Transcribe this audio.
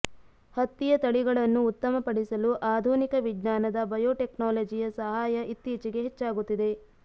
ಹತ್ತಿಯ ತಳಿಗಳನ್ನು ಉತ್ತಮಪಡಿಸಲು ಆಧುನಿಕ ವಿಜ್ಞಾನದ ಬಯೋಟೆಕ್ನಾಲಜಿಯ ಸಹಾಯ ಇತ್ತೀಚೆಗೆ ಹೆಚ್ಚಾಗುತ್ತಿದೆ